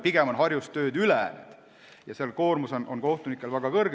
Pigem on Harjus tööd üle, seal on kohtunike koormus väga suur.